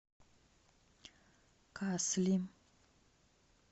касли